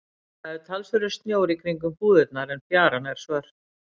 Það er talsverður snjór í kringum búðirnar en fjaran er svört.